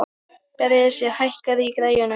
Bresi, hækkaðu í græjunum.